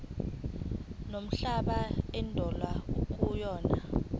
nomhlaba indawo ekuyona